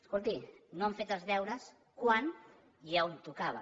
escolti no han fet els deures quan i on tocava